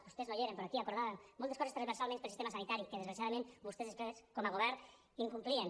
vostès no hi eren però aquí acordàvem moltes coses transversalment per al sistema sanitari que desgraciadament vostès després com a govern incomplien